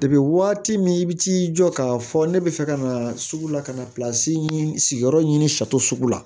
Depi waati min i bi t'i jɔ k'a fɔ ne bɛ fɛ ka na sugu la ka na sigiyɔrɔ ɲini la